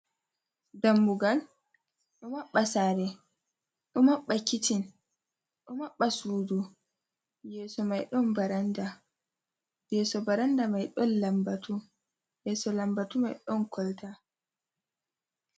Dammugal ɗo maɓɓa sare, ɗo maɓɓa kiccin, ɗo maɓɓa sudu, yeso mai ɗon baranda, yeso baranda mai ɗon lambatu, yeso lambatu mai ɗon kolta.